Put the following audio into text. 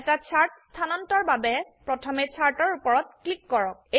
এটা চাৰ্ট স্হানান্তৰ বাবে প্ৰথমে চাৰ্ট এৰ উপৰত ক্লিক কৰক